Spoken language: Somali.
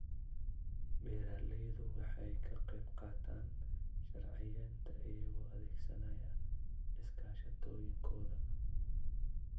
Beeraleydu waxay ka qaybqaataan sharciyeynta iyagoo adeegsanaya iskaashatooyinkooda.